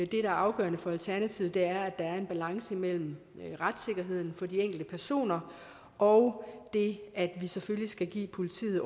der er afgørende for alternativet er der er en balance mellem retssikkerheden for de enkelte personer og det at vi selvfølgelig skal give politiet